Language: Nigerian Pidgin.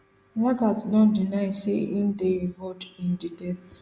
lagat don deny say im dey involved in di death